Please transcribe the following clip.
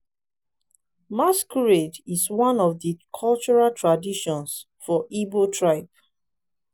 masquerade is one of di cultural traditions for igbo tribe.